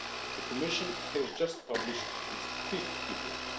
The Commission has just published its fifth report.